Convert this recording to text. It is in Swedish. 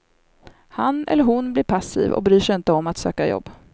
Han eller hon blir passiv och bryr sig inte om att söka jobb.